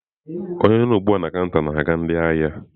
Onye nọ ugbu a na kanta na-aga ndị ahịa?